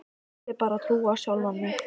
Ég vildi bara trúa á sjálfa mig.